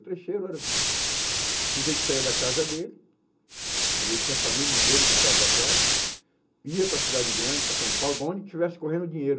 O trecheiro era o sujeito que saía da casa dele, às vezes tinha a família inteira e deixava para trás, ia para a cidade grande, para São Paulo, para onde estivesse correndo dinheiro.